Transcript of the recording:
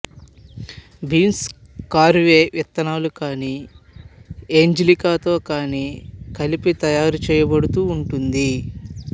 బీంసు caraway విత్తనాలు కాని ఏంజలికాతో కాని కలిపి తయారుచేయబడుతూ ఉంటుంది